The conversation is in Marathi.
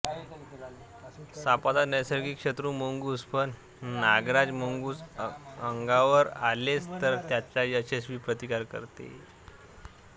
सापाचा नैसर्गिक शत्रू मुंगूस पण नागराज मुंगूस अंगावर आलेच तर त्याचा यशस्वी प्रतिकार करते